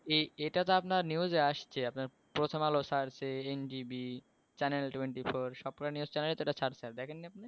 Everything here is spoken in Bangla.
এই এটা তো ভাই news আসছে, আপনার প্রথম আলো ছাড়ছে, NGV channel twenty four, সব কটা news channel এ এটা ছাড়ছে। দেখেন নি আপনি